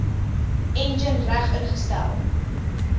enjin reg ingestel